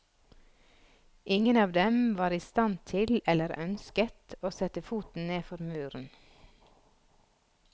Ingen av dem var i stand til, eller ønsket, å sette foten ned for muren.